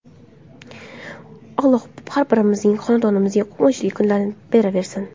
Alloh har birimizning xonadonimizga quvonchli kunlarni beraversin!